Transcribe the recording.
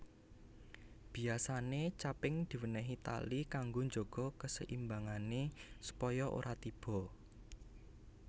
Biyasane caping diwenehi tali kanggo njaga keseimbangane supaya ora tiba